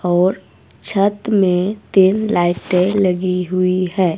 और छत मे तीन लाइटें लगी हुई है।